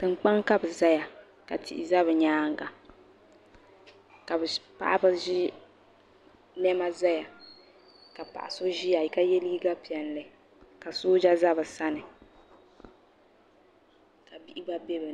Tiŋ kpaŋa ka bi zaya ka tihi za bi yɛanga ka paɣaba zi nɛma zaya ka paɣa so ziya ka ye liiga piɛlli ka sooja za bi sani ka bihi gba bɛ bini.